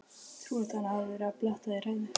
Trúlegt að hann hafi verið að bletta í hræið.